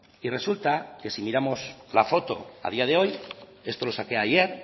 y resulta que si miramos la foto a día de hoy esto lo saqué ayer